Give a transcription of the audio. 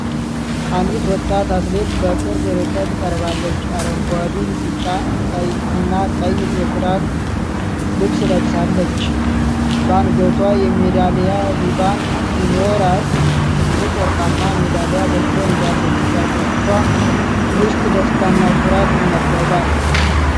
አንዲት ወጣት አትሌት በቅርብ ርቀት ቀርባለች። አረንጓዴ፣ ቢጫና ቀይ የትራክ ልብስ ለብሳለች። በአንገቷ የሜዳሊያ ሪባን ሲኖራት፣ ትልቅ ወርቃማ ሜዳሊያ በእጇ ይዛለች። በአይኖቿ ውስጥ ደስታና ኩራት ይነበባል።